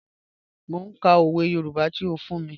Mọ̀ n kà ọwẹ̀ Yorùbá tí ó fún mí.